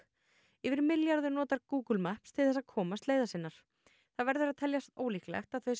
yfir milljarður notar Google Maps til þess að komast leiðar sinnar það verður að teljast ólíklegt að þau sem